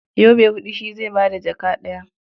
Yobe huɗu shi zai ba da jaka ɗaya.